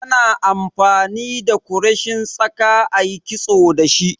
Ana amfani da kureshin tsaka ayi kitso da shi